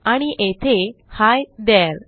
आणि येथे ही थेरे